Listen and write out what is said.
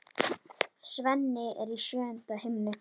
Svenni er í sjöunda himni.